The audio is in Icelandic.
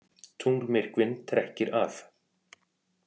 Tunglmyrkvinn trekkir að